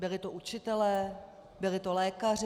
Byli to učitelé, byli to lékaři.